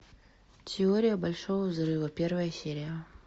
теория большого взрыва первая серия